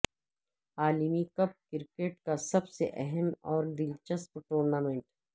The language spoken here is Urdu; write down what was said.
عالمی کپ کرکٹ کا سب سے اہم اور دلچسپ ٹورنامنٹ ہے